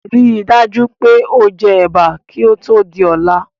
Ríi dájú pé o je Ẹ̀bà kí ó Tóò di ọ̀la